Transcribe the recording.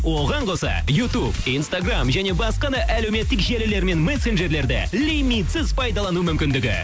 оған қоса ютуб инстаграмм және басқа да әлеуметтік желілер мен мессенджерлерде лимитсіз пайдалану мүмкіндігі